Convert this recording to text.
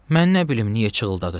Mən nə bilim niyə cığırtdadı?